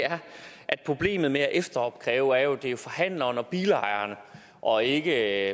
at problemet med at efteropkræve jo er at det er forhandleren og bilejeren og ikke